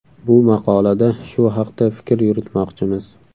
Bu maqolada shu haqda fikr yuritmoqchimiz.